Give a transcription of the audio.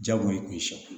Jagoya i kun